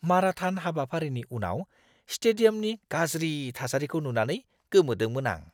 Marathon हाबाफारिनि उनाव स्टेडियामनि गाज्रि थासारिखौ नुनानै गोमोदोंमोन आं!